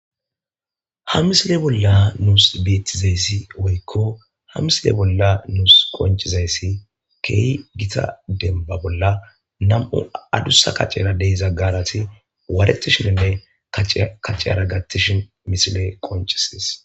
Ha misile bolla nusi betizaysi woyko ha misile bolla nusi qoncizays keeh guta demba bolla nam'u adusa kacera de'iza gaarati waratishinine kaciya kacara gatishn misiley qoncisides.